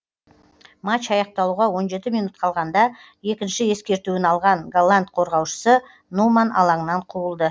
матч аяқталуға он жеті минут қалғанда екінші ескертуін алған голланд қорғаушысы нуман алаңнан қуылды